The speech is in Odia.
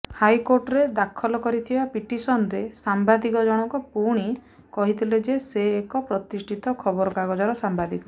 ହାଇକୋର୍ଟରେ ଦାଖଲ କରିଥିବା ପିଟିସନରେ ସାମ୍ୱାଦିକ ଜଣକ ପୁଣି କହିଥିଲେ ଯେ ସେ ଏକ ପ୍ରତିଷ୍ଠିତ ଖବରକାଗଜର ସାମ୍ୱାଦିକ